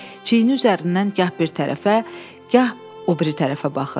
Çiyini üzərindən gah bir tərəfə, gah o biri tərəfə baxır.